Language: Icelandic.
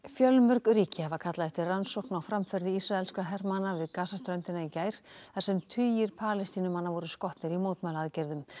fjölmörg ríki hafa kallað eftir rannsókn á framferði ísraelskra hermanna við Gaza ströndina í gær þar sem tugir Palestínumanna voru skotnir í mótmælaaðgerðum